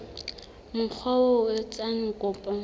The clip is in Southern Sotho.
mokga oo a etsang kopo